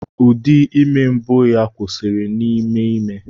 Ụdị ime mbụ ya kwụsịrị n'ime ime.